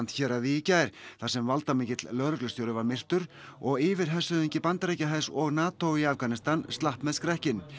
héraði í gær þar sem valdamikill lögreglustjóri var myrtur og yfirhershöfðingi Bandaríkjahers og NATO í Afganistan slapp með skrekkinn